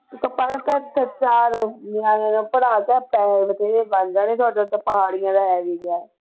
ਉਹਨੂੰ ਕਹਿ ਪੜ੍ਹ ਤਾਂ ਇੱਥੇ ਚਾਰ ਨਿਆਣੇ ਨੂੰ ਪੜ੍ਹਾ ਤਾਂ ਪੈਸੇ ਰੁਪਈਏ ਬਣ ਜਾਣੇ ਤੁਹਾਡਾ ਤਾਂ ਹੈ ਵੀ ਕਿਆ